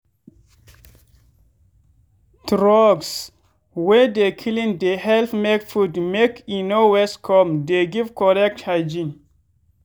troughs wey dey clean dey help make food make e no waste come dey give correct hygiene.